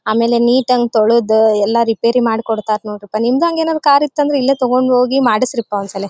ಆಮೇಲೆ ನೀಟಂಗ್ ತೊಳದು ಎಲ್ಲ ರಿಪೆರಿ ಮಾಡ್ಕೊಡ್ತಾರೆ ನೋಡ್ರಪಾ ನಿಮ್ಮದು ಏನರ್ ಕಾರ್ ಇತ್ತಂದ್ರೆ ಇಲ್ಲೇ ತೊಗಂಡು ಓಗಿ ಮಾಡಿಸ್ರಿಪ್ಪ ಒನ್ಸಲೆ.